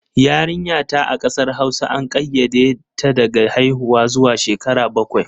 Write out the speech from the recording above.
Yarinta a ƙasar Hausa an ƙayyade ta daga haiwuwa zuwa shekara bakwai.